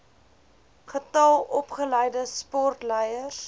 getal opgeleide sportleiers